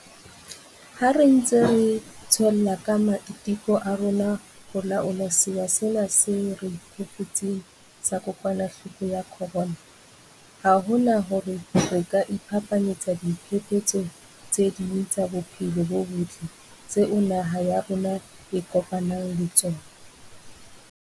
Ha re ntse retswella ka ma-iteko a rona a ho laola sewa sena se re thefutseng sa kokwanahloko ya corona, ha hona hore re ka iphapanyetsa diphephetso tse ding tsa bophelo bo botle tseo naha ya rona e kopanang le tsona.